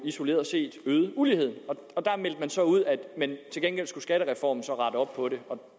isoleret set øgede uligheden der meldte man så ud at til gengæld skulle skattereformen rette op på det og